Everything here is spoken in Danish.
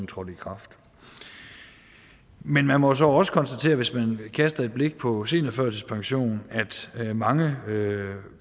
trådte i kraft men man må så også konstatere hvis man kaster et blik på seniorførtidspension at mange